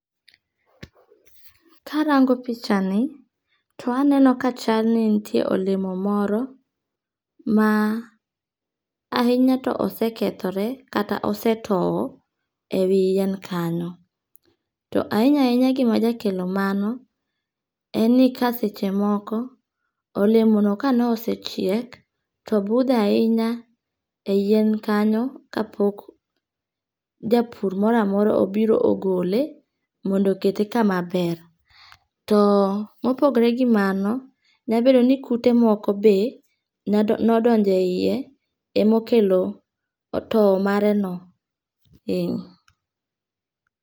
Karango pichani, to aneno ka chalni nitiere olemo moro, ma ahinya to osekethore kata osetowo e wi yien kanyo, to ahinya ahinya gima jakelo mano, en ni kaseche moko, olemoni kane osechiek to obutho ahinya e yien kanyo ka pok japur moro amora obiro ogole, mondo okete kama ber , to mopogore gi mano to nyalo bed ni kute moko be nodonje hiye ema okelo towo mare no ee.